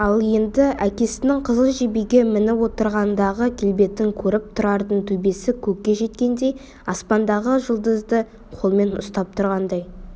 ал енді әкесінің қызыл жебеге мініп отырғандағы келбетін көріп тұрардың төбесі көкке жеткендей аспандағы жұлдызды қолмен ұстап тұрғандай